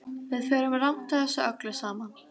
Við förum rangt að þessu öllu saman.